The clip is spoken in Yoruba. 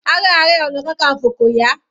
Ara Ààrẹ ọna kankanfo kò yá.